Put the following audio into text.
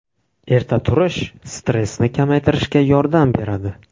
Erta turish stressni kamaytirishga yordam beradi.